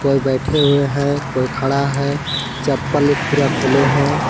कोई बैठे हुए है कोई खड़ा है चप्पल एक फिरा खोले है।